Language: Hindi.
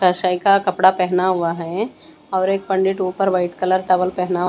काशाई का कपड़ा पहना हुआ है और एक पंडित ऊपर वाइट कलर टॉवल पहना--